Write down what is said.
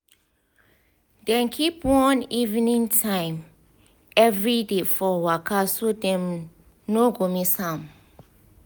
dem keep one evening time every day for waka so dem no go miss am.